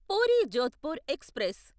puri Jodhpur express